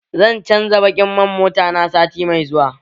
Zan canza baƙin man mota na sati mai zuwa